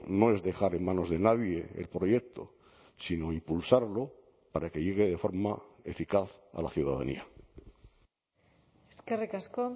no es dejar en manos de nadie el proyecto sino impulsarlo para que llegue de forma eficaz a la ciudadanía eskerrik asko